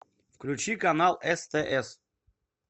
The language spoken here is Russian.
включи канал стс